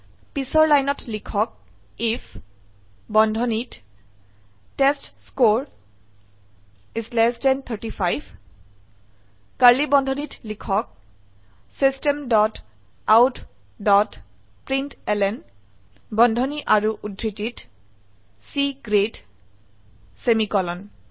পিছৰ লাইন লিখক আইএফ বন্ধনীত টেষ্টস্কৰে 35 কাৰ্ড়লী বন্ধনীত লিখক system dot out dot println বন্ধনী আৰু উদ্ধৃতিত C গ্ৰেড সেমিকোলন